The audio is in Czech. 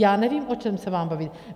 Já nevím, o čem se mám bavit.